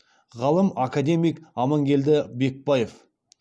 ғалым академик аманкелді бекбаев